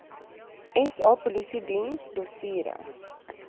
sa polisiediens dossiere